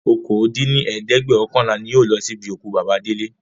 okòó dín ní ẹ̀ẹ́dẹ́gbẹ́ọ̀kànlá ni yóò lọ sí ibi òkú bàbà Délé